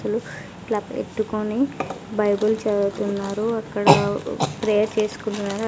వ్యక్తులు క్లాప్ ఎట్టుకొని బైబిల్ చదువుతున్నారు అక్కడ ప్రేయర్ చేసుకుంటున్నారు.